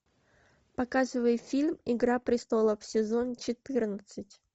показывай фильм игра престолов сезон четырнадцать